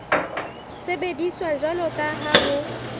sebediswa jwalo ka ha ho